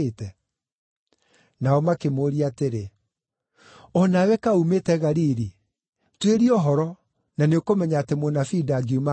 Nao makĩmũũria atĩrĩ, “O nawe kaĩ uumĩte Galili? Tuĩria ũhoro, na nĩũkũmenya atĩ mũnabii ndangiuma Galili.”